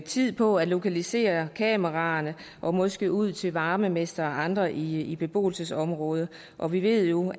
tid på at lokalisere kameraerne og måske ud til varmemestre og andre i et beboelsesområde og vi ved jo